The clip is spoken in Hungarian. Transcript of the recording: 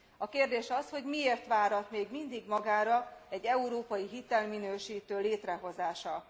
A kérdés az, hogy miért várat még mindig magára egy európai hitelminősítő létrehozása.